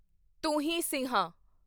ਤੁਹੀਂ ਸਿੰਹਾ